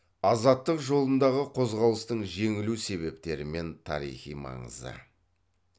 азаттық жолындағы қозғалыстың жеңілу себептері мен тарихи маңызы